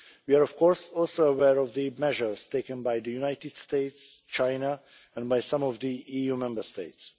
We are, of course, also aware of the measures taken by the United States, China and by some of the EU Member States.